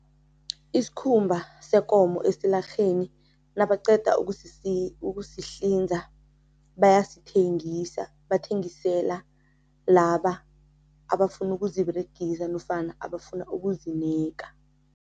Isikhumba sekomo esilarheni nabaqeda ukusihlinza, bayasithengisa, bathengisela laba abafuna ukuziberegisa nofana abafuna ukuzineka.